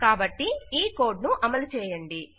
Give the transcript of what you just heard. కాబట్టి ఈ కోడ్ ను అమలు చేయండి